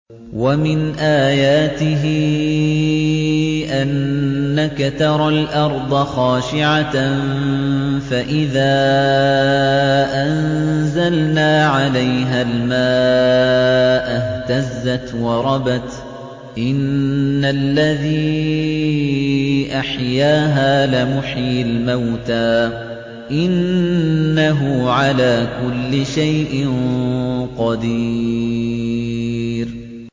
وَمِنْ آيَاتِهِ أَنَّكَ تَرَى الْأَرْضَ خَاشِعَةً فَإِذَا أَنزَلْنَا عَلَيْهَا الْمَاءَ اهْتَزَّتْ وَرَبَتْ ۚ إِنَّ الَّذِي أَحْيَاهَا لَمُحْيِي الْمَوْتَىٰ ۚ إِنَّهُ عَلَىٰ كُلِّ شَيْءٍ قَدِيرٌ